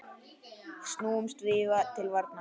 Snúumst því til varnar!